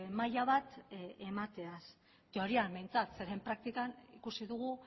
maila bat emateaz teorian behintzat zeren praktikan ikusi dugu